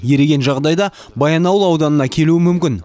еріген жағдайда баянауыл ауданына келуі мүмкін